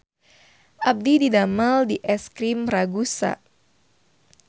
Abdi didamel di Es Krim Ragusa